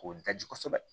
K'o daji kosɛbɛ